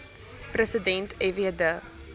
president fw de